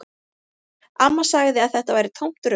Amma sagði að þetta væri tómt rugl